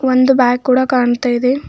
ಒಂದು ಬ್ಯಾಗ್ ಕೂಡ ಕಾಣ್ತಾ ಇದೆ.